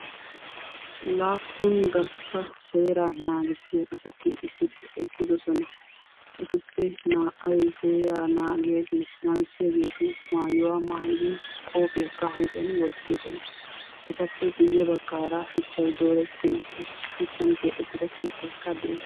laapun gastta seera naagisiya assati maaraara eqidossona ettupe naa"ay bantta oosso maayuwaa maayidossona ettappekka guyessara shuchchani keexetida keettay beettessi.